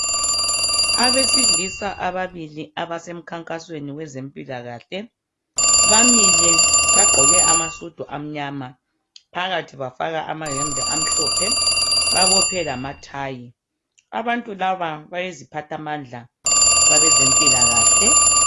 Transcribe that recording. Abesilisa ababili abasemkhankasweni wabazempilakahle. Bamile bagqoke amasudu amnyama, phakathi bafaka amayembe amhlophe babophe lamathayi. Abantu laba bayiziphathamandla kwabezempilakahle.